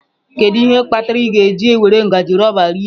Kedu ihe kpatara ị ga-eji were ngaji rọba rie?